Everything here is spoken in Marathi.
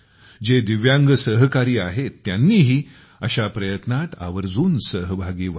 जे दिव्यांग सहकारी आहेत त्यांनीही अशा प्रयत्नात आवर्जून सहभागी व्हावे